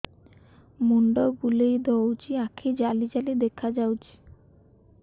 ମୁଣ୍ଡ ବୁଲେଇ ଦଉଚି ଆଖି ଜାଲି ଜାଲି ଦେଖା ଯାଉଚି